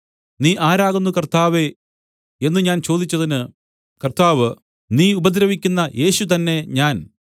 നീ ആരാകുന്നു കർത്താവേ എന്നു ഞാൻ ചോദിച്ചതിന് കർത്താവ് നീ ഉപദ്രവിക്കുന്ന യേശു തന്നെ ഞാൻ